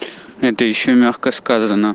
это ещё и мягко сказано